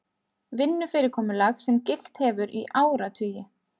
Vinnufyrirkomulag sem gilt hefur í áratugi